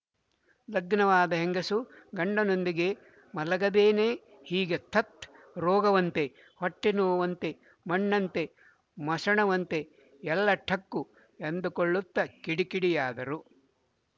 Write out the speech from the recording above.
ಲಗ್ನವಾದ ಹೆಂಗಸು ಗಂಡನೊಂದಿಗೆ ಮಲಗದೇನೆ ಹೀಗೆ ಥತ್ ರೋಗವಂತೆ ಹೊಟ್ಟೆನೋವಂತೆ ಮಣ್ಣಂತೆ ಮಸಣವಂತೆ ಎಲ್ಲ ಠಕ್ಕು ಎಂದುಕೊಳ್ಳುತ್ತ ಕಿಡಿಕಿಡಿಯಾದರು